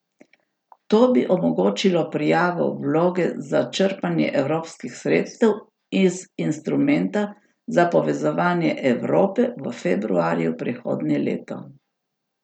To bi omogočilo prijavo vloge za črpanje evropskih sredstev iz instrumenta za povezovanje Evrope v februarju prihodnje leto.